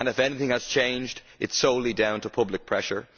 If anything has changed, it is solely down to public pressure.